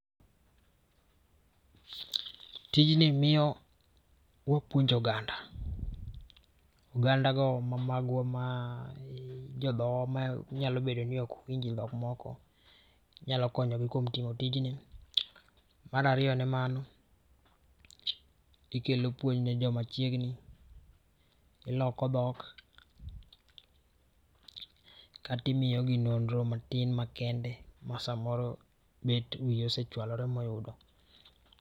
Tijni miyo wapuonjo oganda. Oganda go ma magwa ma jodhowa manyalo beno ni ok winj dhok moko inyalo konyo kuom timo tijni. Mar ariyo ne mano ikelo puonj ne jo machiegni, iloko dhok, kata imiyogi nonro matin makende masamoro bet wiyi osechwalore ma oyudo. Tijni miyo wapuonjo oganda. Oganda go ma magwa ma jodhowa manyalo bedo ni ok winj dhok moko inyalo konyogi kuom timo tijni. Mar ariyo ne mano ikelo puonj ne jo machiegni, iloko dhok, kata imiyogi nonro matin makende ma samoro bet wiyi osechwalore ma oyudo.